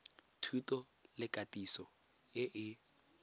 thuto le katiso e e